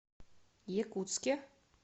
якутске